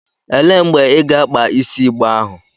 Elee mgbe ị ga-akpa isi igbe ahụ?